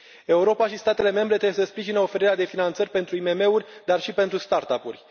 Europa și statele membre trebuie să sprijine oferirea de finanțări pentru IMM uri dar și pentru start up uri.